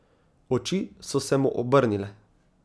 Oči so se mu obrnile.